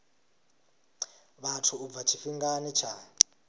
vhathu u bva tshifhingani tsha